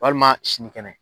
Walima sini kɛnɛ.